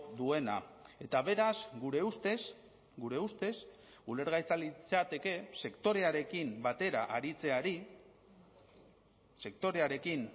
duena eta beraz gure ustez gure ustez ulergaitza litzateke sektorearekin batera aritzeari sektorearekin